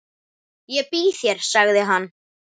Ég býð þér, sagði hann.